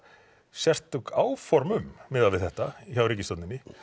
sérstök áform um miðað við þetta hjá ríkisstjórninni